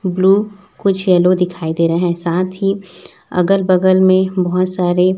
blue कुछ yellow दिखाई दे रहे हैं साथ ही अगल बगल में बहोत सारे--